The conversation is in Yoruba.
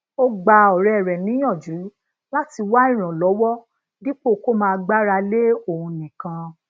ó gba òré rè níyànjú lati wá ìrànlówó dípò kó máa gbára lé òun nìkan